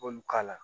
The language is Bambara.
K'olu k'a la